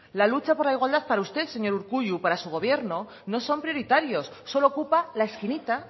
la lucha por la igualdad para usted señor urkullu para su gobierno no son prioritarios solo ocupa la esquinita